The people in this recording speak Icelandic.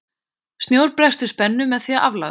Snjór bregst við spennu með því að aflagast.